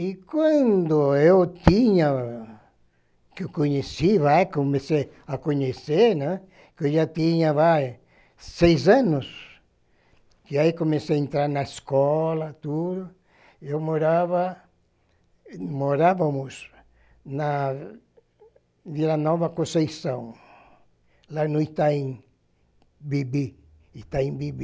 E quando eu tinha, que eu conheci, vai, comecei a conhecer, né, que eu já tinha, vai, seis anos, e aí comecei a entrar na escola, tudo, eu morava, morávamos na Vila Nova Conceição, lá no Itaim Bibi, Itaim Bibi.